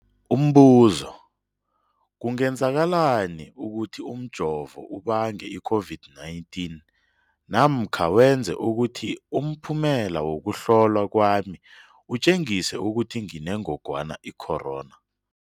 Umbuzo, kungenzekana ukuthi umjovo ubange i-COVID-19 namkha wenze ukuthi umphumela wokuhlolwa kwami utjengise ukuthi nginengogwana i-corona?